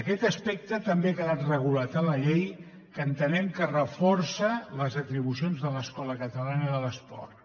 aquest aspecte també ha quedat regulat a la llei que entenem que reforça les atribucions de l’escola catalana de l’esport